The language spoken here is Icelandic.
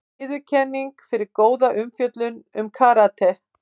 Viðurkenning fyrir góða umfjöllun um karate